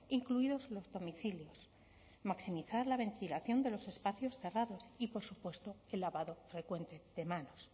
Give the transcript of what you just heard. incluidos los domicilios maximizar la ventilación de los espacios cerrados y por supuesto el lavado frecuente de manos